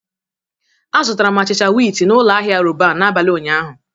Azụtara m achịcha wịtị na ụlọ ahịa Roban n'abalị ụnyaahụ.